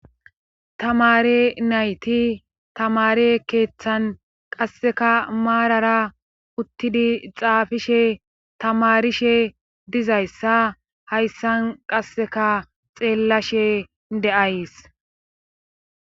Tamare nayti tamare keeththan qasseka maarara uttidi xaafishe tamarishe dizayssa hayssan qasseka xeellashe de'ays.